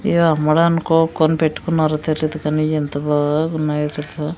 కొనిపెట్టుకున్నారో తెలీదు కానీ ఎంత బాగున్నాయో తెలుసా.